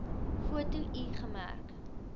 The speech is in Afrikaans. foto l gemerk